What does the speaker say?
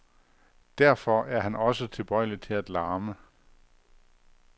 Derfor er han også tilbøjelig til at larme.